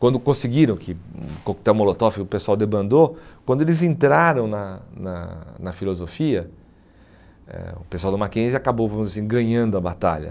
Quando conseguiram que hum o coquetel, o pessoal debandou, quando eles entraram na na na filosofia, eh o pessoal do Mackenzie acabou vamos dizer assim ganhando a batalha.